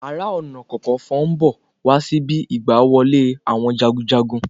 Ààrẹ-ọ̀nà-kakanfo ń bọ̀ wá síbi igbá wọlé àwọn jagunjagun